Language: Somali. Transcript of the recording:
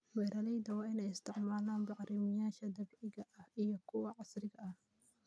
Beeralayda waa inay isticmaalaan bacrimiyeyaasha dabiiciga ah iyo kuwa casriga ah.